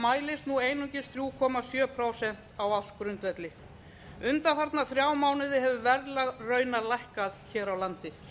mælist nú einungis þrjú komma sjö prósent á ársgrundvelli undanfarna þrjá mánuði hefur verðlag raunar lækkað hér á landi